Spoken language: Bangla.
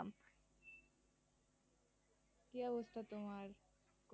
কি অবস্থা তোমার?